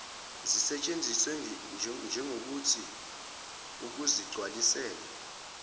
zisetshenziswe njegokuthi ukuzigcwalisela